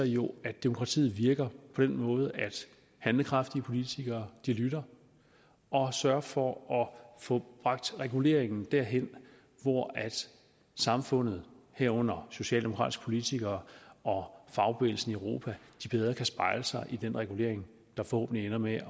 jo at demokratiet virker på den måde at handlekraftige politikere lytter og sørger for at få bragt reguleringen der hen hvor samfundet herunder socialdemokratiske politikere og fagbevægelsen i europa bedre kan spejle sig i den regulering der forhåbentlig ender med